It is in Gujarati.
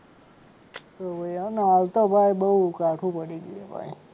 હોવે હાલ તો ભાઈ બહુ કાઢુ પડી ગયું ભાઈ.